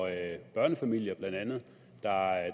andet børnefamilier der